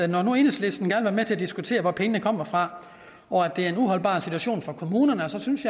nu i enhedslisten gerne med til at diskutere hvor pengene skal komme fra og at det er en uholdbar situation for kommunerne så synes